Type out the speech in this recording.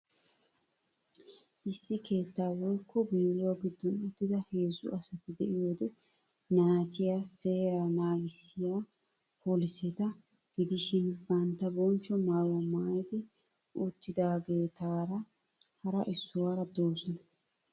Issi keetta woykko bewro gidoon uttida heezze asatti de'iyoode naa'atyi seeraa nagissiya polisetta gidishin bantta bonchcho maayuwaa maayidi uttidaageettaara hara issuwara doosonna.